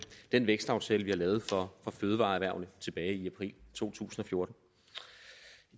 den vækstaftale vi har lavet for fødevareerhvervene tilbage i april to tusind og fjorten